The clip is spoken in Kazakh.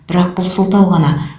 бірақ бұл сылтау ғана